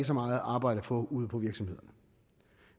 så meget arbejde at få ude på virksomhederne